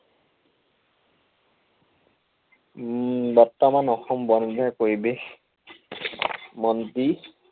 উম বৰ্তমান অসম বন বিভাগ পৰিৱেশ মন্ত্ৰী